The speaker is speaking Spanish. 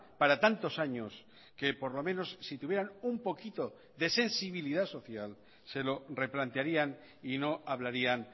para tantos años que por lo menos si tuvieran un poquito de sensibilidad social se lo replantearían y no hablarían